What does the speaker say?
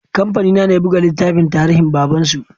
Kamfani na ne ya buga littafin tarinhin baban su